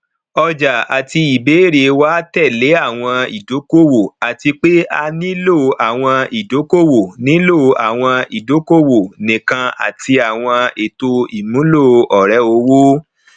ọjàa àti ìbéèrè wà tẹlẹ àwọn ìdòkòwò àti pé a nílò àwọn ìdòkòwò nílò àwọn ìdòkòwò nìkan àti àwọn ètò ìmúlò ọrẹowó